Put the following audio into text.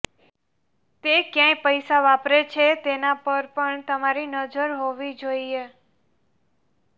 તે ક્યાં પૈસા વાપરે છે તેના પર પણ તમારી નજર હોવી જોઈએ